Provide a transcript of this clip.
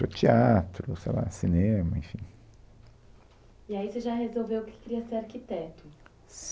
Para o teatro, sei lá, cinema, enfim. E aí você já resolveu que queria ser arquiteto?